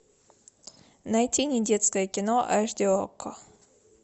найти не детское кино аш ди окко